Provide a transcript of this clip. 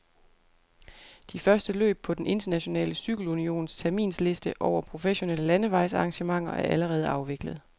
De første løb på den internationale cykelunions terminsliste over professionelle landevejsarrangementer er allerede afviklet.